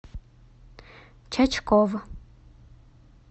чачков